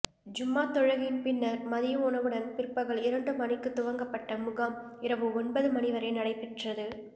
ஜூம்மா தொழுகையின் பின்னர் மதிய உணவுடன் பிற்பகல் இரண்டு மணிக்கு துவங்கப்பட்ட முகாம் இரவு ஒன்பது மணிவரை நடைபெற்றது